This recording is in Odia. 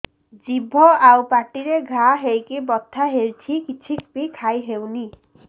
ଜିଭ ଆଉ ପାଟିରେ ଘା ହେଇକି ବଥା ହେଉଛି କିଛି ବି ଖାଇହଉନି